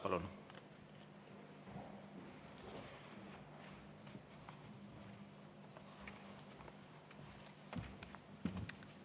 Palun!